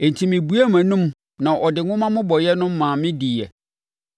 Enti mebuee mʼanom na ɔde nwoma mmobɔeɛ no maa me diiɛ.